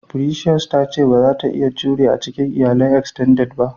"Precious" ta ce bazata iya jure a cikin iyalan "extended" ba.